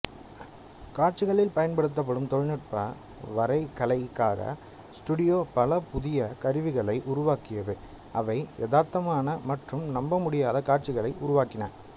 காட்சிகளில் பயன்படுத்தப்பபடும் தொழில்நுட்ப வரைகலைக்காக ஸ்டூடியோ பல புதிய கருவிகளை உருவாக்கியது அவை யதார்த்தமான மற்றும் நம்பமுடியாத காட்சிகளை உருவாக்கின